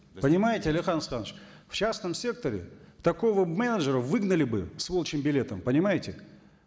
понимаете алихан асханович в частном секторе такого менеджера выгнали бы с волчьим билетом понимаете